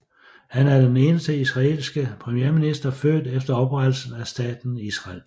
Han er den eneste israelske premierminister født efter oprettelsen af staten Israel